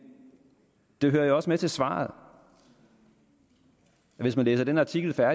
det hører jo også med til svaret at hvis man læser den artikel der